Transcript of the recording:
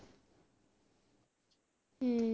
ਹਮ